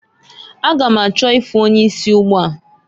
A ga m achọ ịfụ onye isi ugbua.